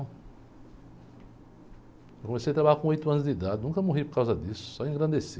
Eu comecei a trabalhar com oito anos de idade, nunca morri por causa disso, só engrandeci.